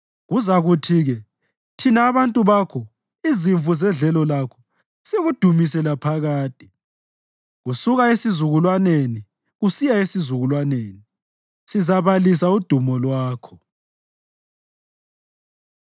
Kuzakuthi-ke thina abantu bakho, izimvu zedlelo lakho, sikudumise laphakade; kusuka esizukulwaneni kusiya esizukulwaneni sizabalisa udumo lwakho.